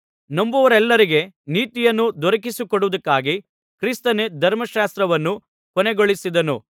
ನಂಬುವವರೆಲ್ಲರಿಗೆ ನೀತಿಯನ್ನು ದೊರಕಿಸಿಕೊಡುವುದಕ್ಕಾಗಿ ಕ್ರಿಸ್ತನೇ ಧರ್ಮಶಾಸ್ತ್ರವನ್ನು ಕೊನೆಗೊಳಿಸಿದನು